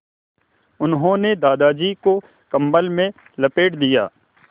उन्होंने दादाजी को कम्बल में लपेट दिया